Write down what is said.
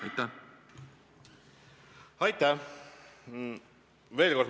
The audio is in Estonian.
Aitäh!